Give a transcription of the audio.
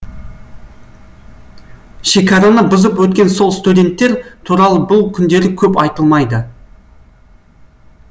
шекараны бұзып өткен сол студенттер туралы бұл күндері көп айтылмайды